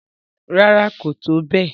Rárá, kò tó bẹ́ẹ̀